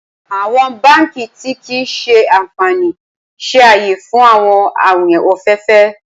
Awọn banki ti kii ṣe anfani ṣe aye fun awọn awin ọfẹ ọfẹ